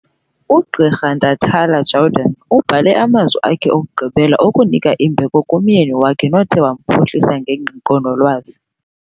UGqirha Ntatala-Jordan ubhale amazwi akhe okugqibela okunika imbeko kumyeni wakhe, nothe wamphuhlisa ngengqiqo nolwazi.